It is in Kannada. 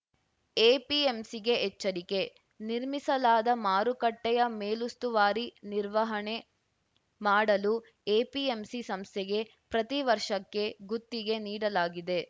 ಎಪಿಎಂಸಿಗೆ ಎಚ್ಚರಿಕೆ ನಿರ್ಮಿಸಲಾದ ಮಾರುಕಟ್ಟೆಯ ಮೇಲುಸ್ತುವಾರಿ ನಿರ್ವಹಣೆ ಮಾಡಲು ಎಪಿಎಂಸಿ ಸಂಸ್ಥೆಗೆ ಪ್ರತಿ ವರ್ಷಕ್ಕೆ ಗುತ್ತಿಗೆ ನೀಡಲಾಗಿದೆ